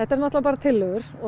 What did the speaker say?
náttúrulega bara tillögur og